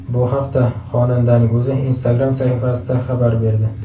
Bu haqda xonandaning o‘zi Instagram sahifasida xabar berdi .